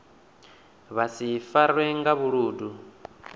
vha si farwe nga vhuludu